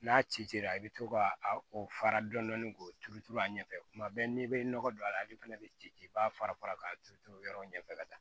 N'a cira i bɛ to ka a fara dɔni k'o turu turu a ɲɛfɛ kuma bɛɛ n'i bɛ nɔgɔ don a la ale fɛnɛ bɛ ci i b'a fara fara k'a turu turu yɔrɔ ɲɛfɛ ka taa